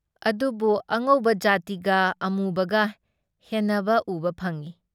ꯑꯗꯨꯕꯨ ꯑꯉꯧꯕ ꯖꯥꯇꯤꯒ ꯑꯃꯨꯕꯒ ꯍꯦꯟꯅꯕ ꯎꯕ ꯐꯪꯏ ꯫